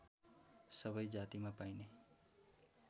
सबै जातिमा पाइने